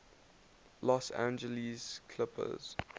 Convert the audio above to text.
los angeles clippers